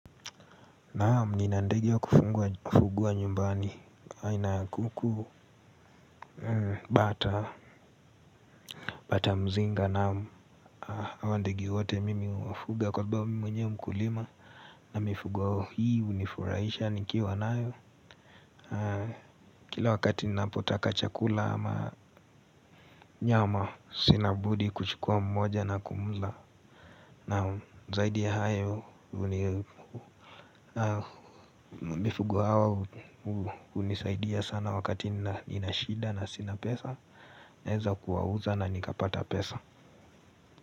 Naam ninandege wa kufugwa nyumbani aina ya kuku. Bata mzinga naam. Hawa ndege wote mimi huwafuga kwa sababu mimi mwenye mkulima na mifugo hii hunifurahisha nikiwanayo. Kila wakati ninapotaka chakula ama nyama sinabudi kuchukua mmoja na kumla naam, zaidi ya hayo, hunisaidia sana wakati ninashida na sina pesa, ninaweza kuwauza na nikapata pesa.